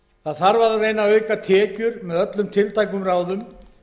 það þarf að reyna að auka tekjur með öllum tiltækum ráðum